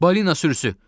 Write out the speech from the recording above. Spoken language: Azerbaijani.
Balina sürüsü!